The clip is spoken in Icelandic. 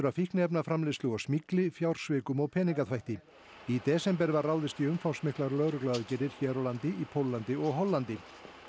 að fíkniefnaframleiðslu og smygli fjársvikum og peningaþvætti í desember var ráðist í umfangsmiklar lögregluaðgerðir hér á landi í Póllandi og Hollandi